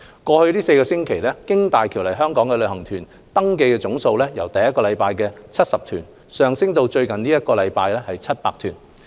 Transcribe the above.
過去4周，經大橋來港的旅行團登記總數由第一周的約70團上升至最近一周的超過700團。